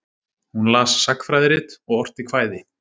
Hún las sagnfræðirit og orti kvæði.